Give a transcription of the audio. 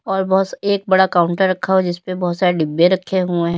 और बोहोस एक बड़ा काउंटर रखा हुआ जिसपे बोहोत सारे डिब्बे रखे हुए --